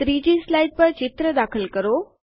3 slide પર ચિત્ર દાખલ કરો